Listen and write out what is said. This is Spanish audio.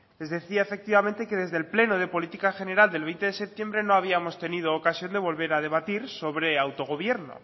les decía efectivamente que desde el pleno de política general del veinte de septiembre no habíamos tenido ocasión de volver a debatir sobre autogobierno